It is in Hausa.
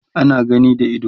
ana gani da ido